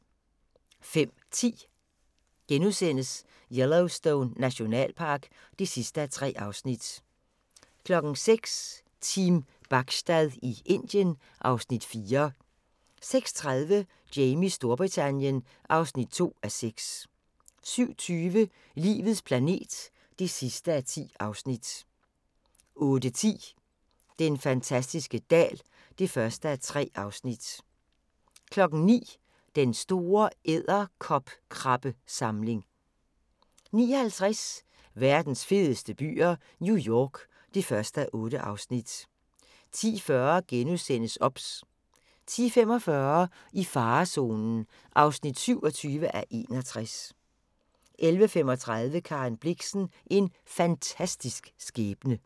05:10: Yellowstone Nationalpark (3:3)* 06:00: Team Bachstad i Indien (Afs. 4) 06:30: Jamies Storbritannien (2:6) 07:20: Livets planet (10:10) 08:10: Den fantastiske dal (1:3) 09:00: Den store edderkopkrabbesamling 09:50: Verdens fedeste byer - New York (1:8) 10:40: OBS * 10:45: I farezonen (27:61) 11:35: Karen Blixen – En fantastisk skæbne